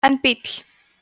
en bíll